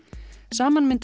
saman mynda